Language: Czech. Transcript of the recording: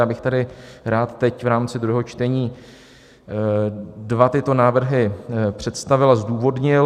Já bych tady rád teď v rámci druhého čtení dva tyto návrhy představil a zdůvodnil.